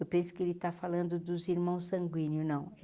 Eu penso que ele está falando dos irmãos sanguíneos, não.